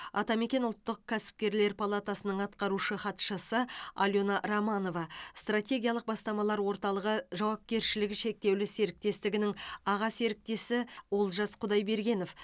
атамекен ұлттық кәсіпкерлер палатасының атқарушы хатшысы алена романова стратегиялық бастамалар орталығы жауапкершілігі шектеулі серіктестігінің аға серіктесі олжас құдайбергенов